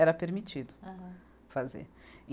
Era permitido. Aham. Fazer. e